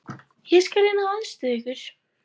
Ég skal reyna að aðstoða ykkur.